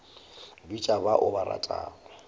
bitša ba o ba ratago